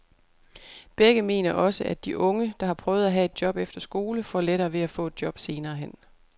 Begge mener også, at de unge, der har prøvet at have et job efter skole, får lettere ved at få et job senere hen.